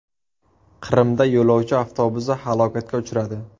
Qrimda yo‘lovchi avtobusi halokatga uchradi.